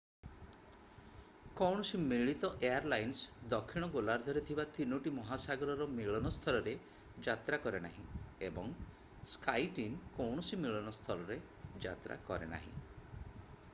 କୌଣସି ମିଳିତ ଏୟାରଲାଇନ୍ସ ଦକ୍ଷିଣ ଗୋଲାର୍ଦ୍ଧରେ ଥିବା ତିନୋଟି ମହାସାଗରର ମିଳନ ସ୍ଥଳରେ ଯାତ୍ରା କରେନାହିଁ ଏବଂ skyteam କୌଣସି ମିଳନ ସ୍ଥଳରେ ଯାତ୍ରା କରେ ନାହିଁ i